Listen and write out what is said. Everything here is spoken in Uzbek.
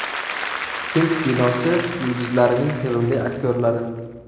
Hind kinosi yulduzlarining sevimli aktyorlari .